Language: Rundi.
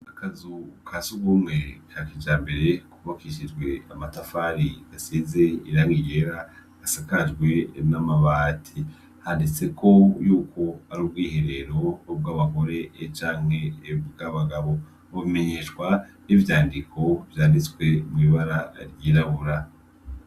Akazu ka sugumwe ka kijambere kubakishijwe amatafari gasize irangigera gasakajwe n'amabati, handitseko yuko ar’ubwiherero bw’abagore e canke bwabagabo, bubimenyeshwa n'ivyandiko vyanditswe mw'ibara ryirabura.